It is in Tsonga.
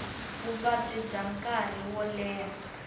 vuvabyi bya nkarhi wo leha